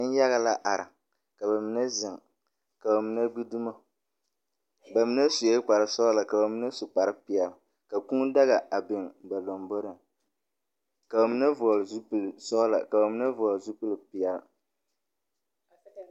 Neŋyaga na are, ka ba mine zeŋ, ka ba mine gbi dumo. Ba mine sue kparre sɔgelɔ, ka ba mine su kparre peɛle, ka kūū daga a biŋ ba lamboriŋ, ka ba mine vɔgele zupili zɔgelɔ ka ba mine vɔgele zupili peɛle.